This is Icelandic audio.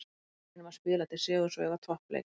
Við reynum að spila til sigurs og eiga toppleik.